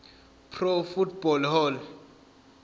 pro football hall